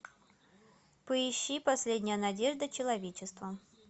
поищи последняя надежда человечества